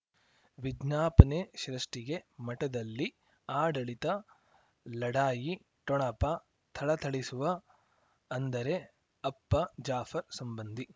ವಿಜ್ಞಾಪನೆ ಸೃಷ್ಟಿಗೆ ಮಠದಲ್ಲಿ ಆಡಳಿತ ಲಢಾಯಿ ಠೊಣಪ ಥಳಥಳಿಸುವ ಅಂದರೆ ಅಪ್ಪ ಜಾಫರ್ ಸಂಬಂಧಿ